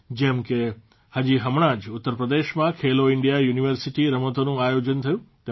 જેમ કે હજી હમણાં જ ઉત્તરપ્રદેશમાં ખેલો ઇન્ડિયા યુનિવર્સિટી રમતોનું આયોજન થયું